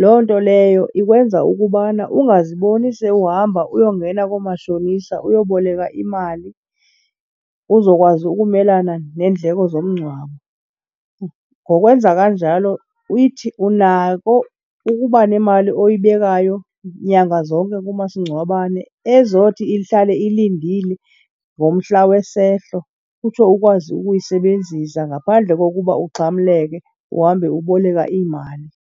Loo nto leyo ikwenza ukubana ungaziboni sewuhamba uyongena koomashonisa uyoboleka imali uzokwazi ukumelana neendleko zomngcwabo. Ngokwenza kanjalo uyithi unako ukuba nemali oyibekayo nyanga zonke kumasingcwabane ezothi ihlale ilindile ngomhla wesehlo, utsho ukwazi ukuyisebenzisa ngaphandle kokuba uxhamleke uhambe uboleka iimali.